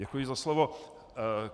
Děkuji za slovo.